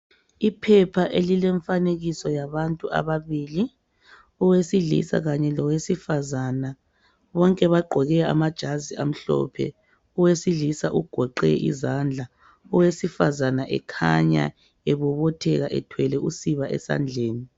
Iphepha elilomfanekiso yabantu ababili owesilisa kanye lowesifazana bonke bagqoke amajazi amhlophe owesilisa ugoqe izandla owesifazana ekhanya ebobotheka ethwele usiba esandleni.